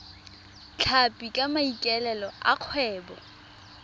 tlhapi ka maikaelelo a kgwebo